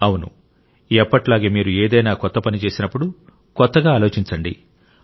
అవును ఎప్పటిలాగే మీరు ఏదైనా కొత్త పని చేసినప్పుడు కొత్తగా ఆలోచించండి